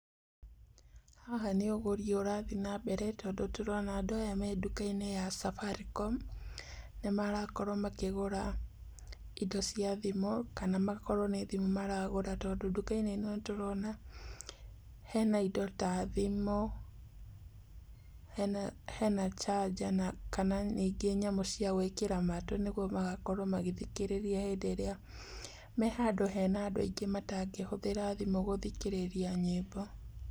Haha nĩ ũgũri ũrathiĩ na mbere tondũ tũrona andũ aya me nduka-inĩ ya Safaricom. Nĩ marakorwo makĩgũra indo cia thimũ, kana makorwo nĩ thimũ maragũra tondũ nduka-inĩ ĩno nĩ tũrona hena indo ta thimũ, hena charger kana ningĩ indo cia gwĩkĩra matũ nĩguo magakorwo magĩthikĩrĩria hĩndĩ ĩrĩa me handũ hena andũ aingĩ matangĩhũthĩra thimũ gũthikĩrĩria nyĩmbo.